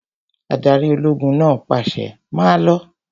Adarí ológun náà pàṣẹ, 'Máa lọ!